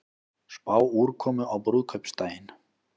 Spá úrkomu á brúðkaupsdaginn